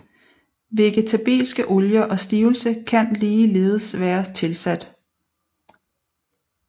Vegetabilske olier og stivelse kan ligeledes være tilsat